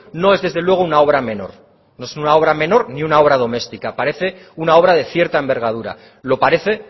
no es desde luego una obra menor no es una obra menor ni una obra doméstica parece una obra de cierta envergadura lo parece